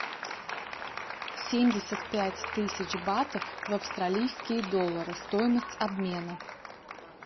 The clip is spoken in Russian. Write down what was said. семьдесят пять тысяч батов в австралийские доллары стоимость обмена